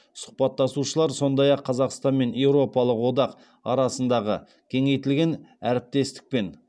сұхбаттасушылар сондай ақ қазақстан мен еуропалық одақ арасындағы кеңейтілген әріптестік пен